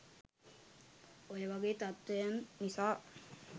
ඔය වගේ තත්ත්වයන් නිසා